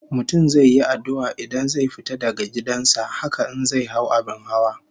Mutum zai yi addu'a idan zai fita daga gidan sa, haka in zai hau abin hawa